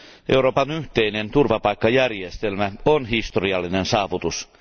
Euroopan yhteinen turvapaikkajärjestelmä on historiallinen saavutus.